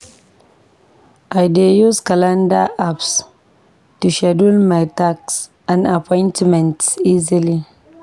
I dey use calendar apps to schedule my tasks and appointments easily.